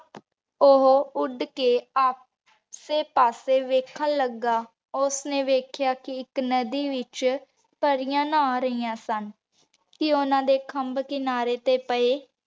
ਓਹੋ ਉੜ ਕੇ ਅਸੀ ਪਾਸੇ ਵੇਖਣ ਲਗਾ ਉਸ੍ਨੀ ਵੇਖ੍ਯਾ ਕੀ ਏਇਕ ਨਦੀ ਵਿਚ ਪਾਰਿਯਾੰ ਨਹਾ ਰਿਯਾਨ ਸਨ ਤੇ ਓਹਨਾਂ ਦੇ ਖੰਭ ਕਿਨਾਰੀ ਤੇ ਪੇ